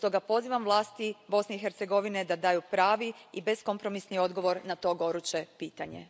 Stoga pozivam vlasti Bosne i Hercegovine da daju pravi i beskompromisni odgovor na to goruće pitanje.